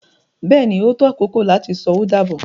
Bẹ́ẹ̀ni, o tó akoko lati sọ o dábọ